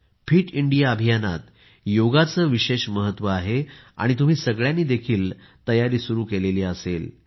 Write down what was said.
fit India अभियानात योग चे विशेष महत्व आहे आणि तुम्ही सगळ्यांनी देखील तयारी सुरु केली असेल